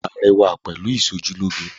Wàá rẹwà pẹ̀lú ìsojúlóge